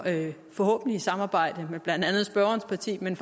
forhåbentlig samarbejde med blandt andet spørgerens parti men